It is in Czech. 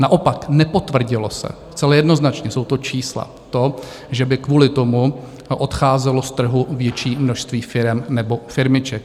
Naopak nepotvrdilo se - zcela jednoznačně, jsou to čísla - to, že by kvůli tomu odcházelo z trhu větší množství firem nebo firmiček.